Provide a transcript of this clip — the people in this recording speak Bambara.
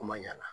Kuma ɲana